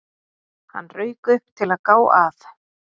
Hann rauk upp, til að gá að